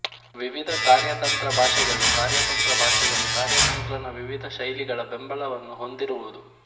ವಿವಿಧ ಕಾರ್ಯತಂತ್ರ ಭಾಷೆಗಳುಕಾರ್ಯತಂತ್ರ ಭಾಷೆಗಳು ಕಾರ್ಯತಂತ್ರ ನ ವಿವಿಧ ಶೈಲಿಗಳ ಬೆಂಬಲವನ್ನು ಹೊಂದಿರುವುದು